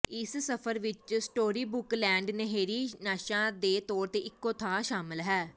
ਇਸ ਸਫ਼ਰ ਵਿਚ ਸਟੋਰੀਬੁਕ ਲੈਂਡ ਨਹਿਰੀ ਨਾਸ਼ਾਂ ਦੇ ਤੌਰ ਤੇ ਇਕੋ ਥਾਂ ਸ਼ਾਮਲ ਹੈ